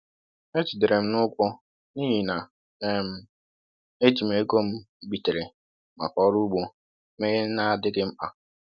E jidere m n'ụgwọ n’ihi na um e ji m ego m bitere maka ọrụ ugbo mee ihe na-adịghị mkpa.